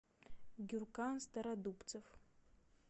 гюркан стародубцев